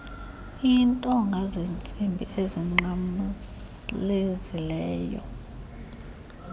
intonga zentsimbi ezinqamlezileyo